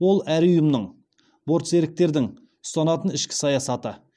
ол әр ұйымның бортсеріктердің ұстанатын ішкі саясаты